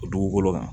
O dugukolo kan